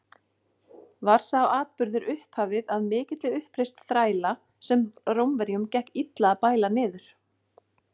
Var sá atburður upphafið að mikilli uppreisn þræla, sem Rómverjum gekk illa að bæla niður.